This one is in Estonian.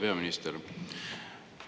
Hea peaminister!